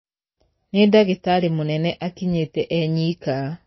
Nī ndagītarī mūnene akinyīte e nyika.